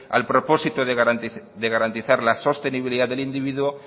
al propósito de garantizar la sostenibilidad del individuo